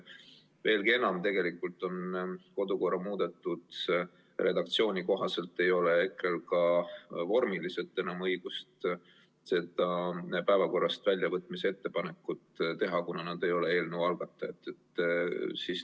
Veelgi enam, tegelikult ei ole kodukorra muudetud redaktsiooni kohaselt EKRE-l ka vormiliselt enam õigust selle punkti päevakorrast väljavõtmise ettepanekut teha, kuna nad ei ole eelnõu algatajad.